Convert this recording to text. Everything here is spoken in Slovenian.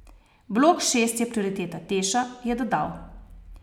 Blok šest je prioriteta Teša, je dodal.